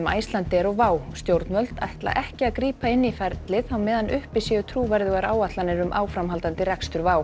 Icelandair og stjórnvöld ætla ekki að grípa inn í ferlið á meðan uppi séu trúverðugar áætlanir um áframhaldandi rekstur